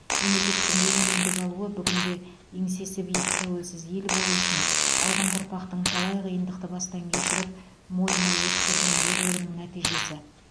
мемлекеттің егемендік алуы бүгінде еңсесі биік тәуелсіз ел болу үшін алдыңғы ұрпақтың талай қиындықты бастан кешіріп мойымай өткерген ерлігінің нәтижесі